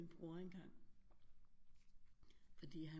Bror engang fordi han